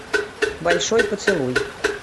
большой поцелуй